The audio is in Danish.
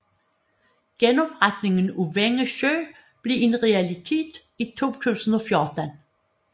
Genopretningen af Vænge Sø blev en realitet i 2014